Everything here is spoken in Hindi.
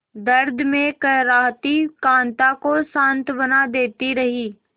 दर्द में कराहती कांता को सांत्वना देती रही